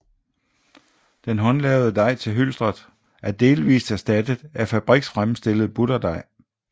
Den håndlavede dej til hylstret er delvist erstattet af fabriksfremstillet butterdej